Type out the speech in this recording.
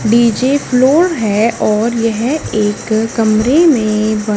DJ floor है और यह एक कमरे में--